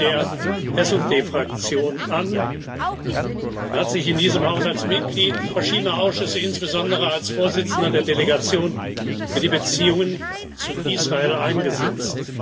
Er gehörte der SD Fraktion an und hat sich in diesem Hause als Mitglied verschiedener Ausschüsse, insbesondere als Vorsitzender der Delegation für die Beziehungen zu Israel, eingesetzt.